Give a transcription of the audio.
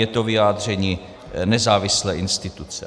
Je to vyjádření nezávislé instituce.